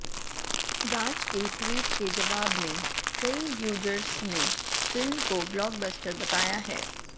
राज के ट्वीट के जवाब में कई यूजर्स ने फिल्म को ब्लॉकबस्टर बताया है